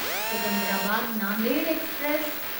Secunderabad Nanded express